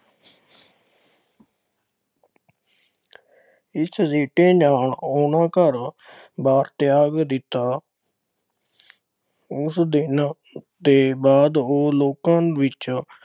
ਇਸ ਸਿੱਟੇ ਨਾਲ ਉਨ੍ਹਾਂ ਘਰ-ਬਾਰ ਤਿਆਗ ਦਿੱਤਾ। ਉਸ ਦਿਨ ਦੇ ਬਾਅਦ ਉਹ ਲੋਕਾਂ ਵਿੱਚ